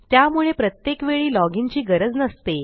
त्यामुळे प्रत्येक वेळी लॉजिन ची गरज नसते